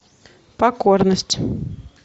покорность